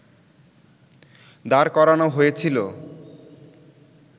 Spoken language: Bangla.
দাঁড় করানো হয়েছিলো